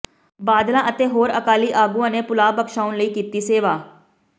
ਬਾਦਲਾਂ ਅਤੇ ਹੋਰ ਅਕਾਲੀ ਆਗੂਆਂ ਨੇ ਭੁੱਲਾਂ ਬਖਸ਼ਾਉਣ ਲਈ ਕੀਤੀ ਸੇਵਾ